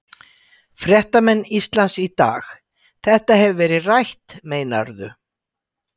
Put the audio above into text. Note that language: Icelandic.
Fréttamenn Ísland í dag: Þetta hefur verið rætt meinarðu?